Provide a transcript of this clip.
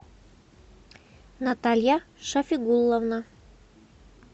наталья шафигуловна